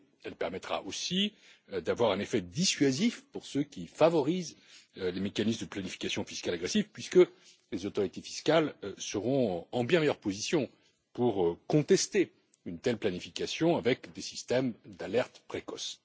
Elle permettra aussi d'avoir un effet dissuasif pour ceux qui favorisent les mécanismes de planification fiscale agressive, puisque les autorités fiscales seront en bien meilleure position pour contester une telle planification avec des systèmes d'alerte précoce.